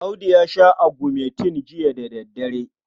Audu ya sha agumentin jiya da daddare.